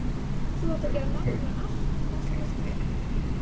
Þú átt að gera nákvæmlega allt það sem við skipum þér.